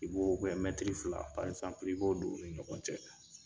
I b'o bɛɛ mɛtiri fila i b'o don u ni ɲɔgɔn cɛ